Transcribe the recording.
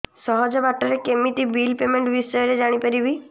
ସହଜ ବାଟ ରେ କେମିତି ବିଲ୍ ପେମେଣ୍ଟ ବିଷୟ ରେ ଜାଣି ପାରିବି